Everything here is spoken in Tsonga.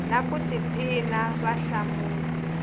na ku tiphina va hlamula